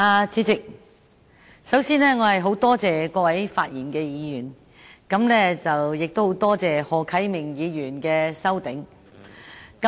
主席，首先，我十分多謝各位發言的議員，也十分多謝何啟明議員提出修正案。